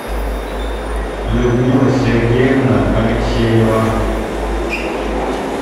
людмила сергеевна алексеева